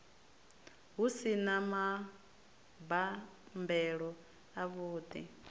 hu si na mabambelo avhuḓi